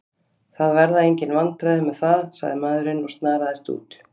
Það verða engin vandræði með það, sagði maðurinn og snaraðist út.